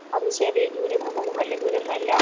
അത് ചെറിയ ദൂരൊന്നുള്ളതും വല്ല്യ ദൂരമൊന്നുമല്ലാ